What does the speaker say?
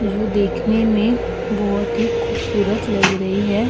जो देखने में बहुत ही खूबसूरत लग रही है।